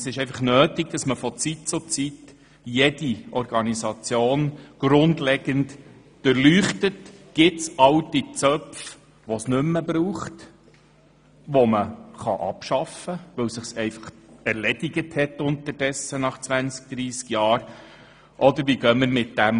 Es ist deshalb nötig, dass man von Zeit zu Zeit jede Organisation grundlegend durchleuchtet und prüft, ob es alte Zöpfe gibt, die es nicht mehr braucht, und die man abschaffen kann, weil sich deren Aufgabe mit den Jahren erledigt hat.